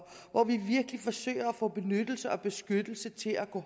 hvor vi virkelig forsøger at få benyttelse og beskyttelse til at gå